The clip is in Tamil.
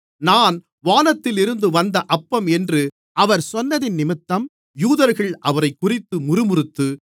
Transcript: நான் வானத்திலிருந்து வந்த அப்பம் என்று அவர் சொன்னதினிமித்தம் யூதர்கள் அவரைக்குறித்து முறுமுறுத்து